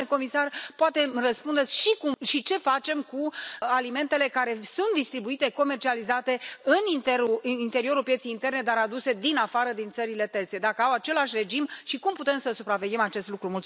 Domnule comisar, poate îmi răspundeți și ce facem cu alimentele care sunt distribuite, comercializate în interiorul pieței interne, dar sunt aduse din afară, din țările terțe, dacă au același regim și cum putem să supraveghem acest lucru.